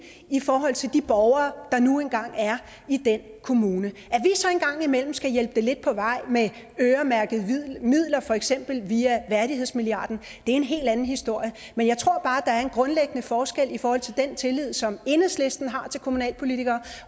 i forhold til de borgere der nu engang er i den kommune at imellem skal hjælpe det lidt på vej med øremærkede midler for eksempel via værdighedsmilliarden det er en helt anden historie men jeg tror er en grundlæggende forskel i forhold til den tillid som enhedslisten har til kommunalpolitikere